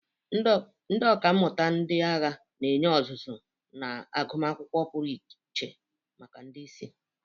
Ndị ọkà mmụta ndị agha na-enye ọzụzụ na agụmakwụkwọ pụrụ iche maka ndị isi.